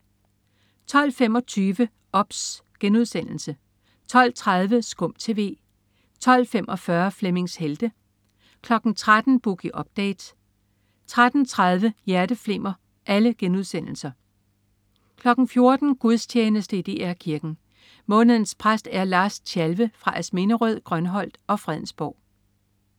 12.25 OBS* 12.30 SKUM TV* 12.45 Flemmings Helte* 13.00 Boogie Update* 13.30 Hjerteflimmer* 14.00 Gudstjeneste i DR Kirken. Månedens præst er Lars Tjalve fra Asminderød, Grønholdt og Fredensborg